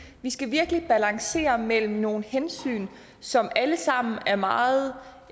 vi skal virkelig balancere mellem nogle hensyn som alle sammen er meget